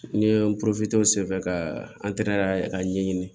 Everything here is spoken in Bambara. N ye n senfɛ ka ka ɲɛɲini